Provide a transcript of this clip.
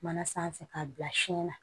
Mana sanfɛ k'a bila siɲɛ na